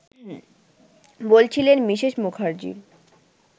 ” বলছিলেন মিসেস মুখার্জী